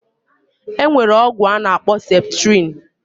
Enwere ogwu anakpo septrin